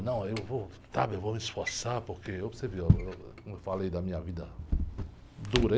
Não, eu vou lutar, eu vou me esforçar porque, eu para você ver, como eu falei da minha vida dura